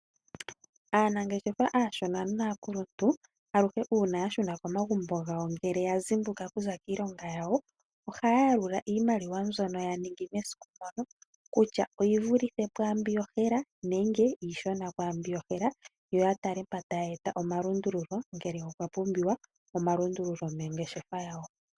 Aanangeshefa aashona naakuluntu aluhe uuna yashuna komagumbo gawo ngele ya zimbuka kuza kiilonga yawo, ohaya yalula iimaliwa mbyoka ya ningi mesiku mono kutya oyi vulithe pwaa mbi yohela nenge iishona kwaambi yohela. Yo ya tale mpa ta ya eta omalundululo ngele opwa pumbiwa omalundululo mongeshefa yawo.